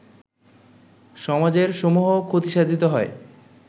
সমাজের সমূহ ক্ষতিসাধিত হয়